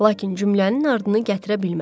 Lakin cümlənin ardını gətirə bilmədim.